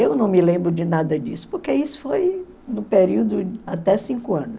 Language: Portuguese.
Eu não me lembro de nada disso, porque isso foi no período até cinco anos.